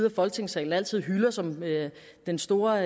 af folketingssalen altid hylder som den store